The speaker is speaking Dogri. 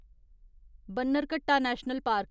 Bannerghatta national park